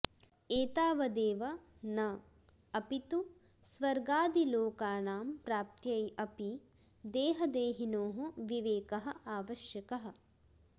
एतावदेव न अपि तु स्वर्गादिलोकानां प्राप्त्यै अपि देहदेहिनोः विवेकः आवश्यकः